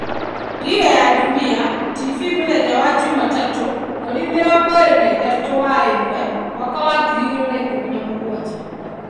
Dira ya Dunia TV mũthenya wa Jumatatũ 23/01/2017.